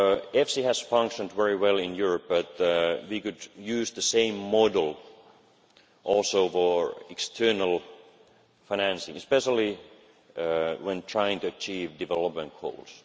plan. EFSI has functioned very well in Europe, but we could use the same model also for external financing, especially when trying to achieve development